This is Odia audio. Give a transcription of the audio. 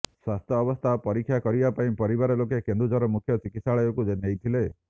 ସ୍ୱାସ୍ଥ୍ୟ ଅବସ୍ଥା ପରିକ୍ଷା କରିବା ପାଇଁ ପରିବାର ଲୋକେ କେନ୍ଦୁଝର ମୁଖ୍ୟ ଚିକିତ୍ସାଳୟକୁ ନେଇଥିଲେ